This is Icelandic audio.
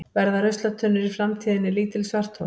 Verða ruslatunnur í framtíðinni lítil svarthol?